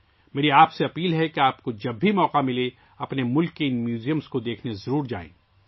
میں آپ سے گزارش کرتا ہوں کہ جب بھی آپ کو موقع ملے آپ اپنے ملک کے ان عجائب گھروں کو ضرور دیکھیں